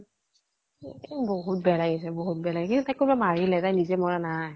এই বহুত বেয়া লাগিছে বহুত বেয়া লাগিছে, কিন্তু তাইক কোনোবাই মাৰিলে। তাই নিজে মৰা নাই।